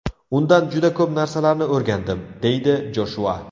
Undan juda ko‘p narsalarni o‘rgandim”, deydi Joshua.